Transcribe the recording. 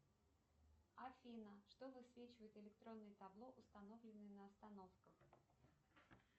афина что высвечивает электронное табло установленное на остановках